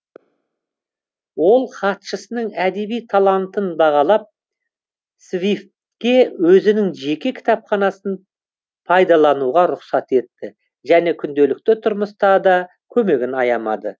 ол хатшысының әдеби талантын бағалап свифтке өзінің жеке кітапханасын пайлануға рұқсат етті және күнделікті тұрмыста да көмегін аямады